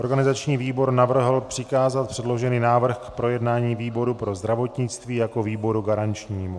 Organizační výbor navrhl přikázat předložený návrh k projednání výboru pro zdravotnictví jako výboru garančnímu.